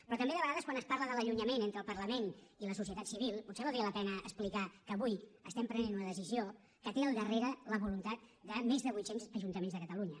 però també de vegades quan es parla de l’allunyament entre el parlament i la societat civil potser valdria la pena explicar que avui estem prenent una decisió que té al darrere la voluntat de més de vuit cents ajuntaments de catalunya